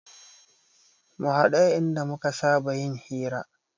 Mu haɗu a inda muka saba yin hira